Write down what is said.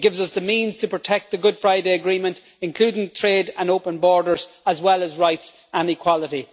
It gives us the means to protect the Good Friday Agreement, including trade and open borders, as well as rights and equality.